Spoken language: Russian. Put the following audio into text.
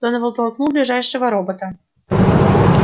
донован толкнул ближайшего робота